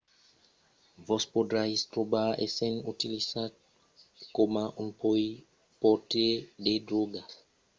vos podriatz trobar essent utilizat coma un portaire de dròga sens o saber çò que vos menarà dins una bèla quantitat de problèmas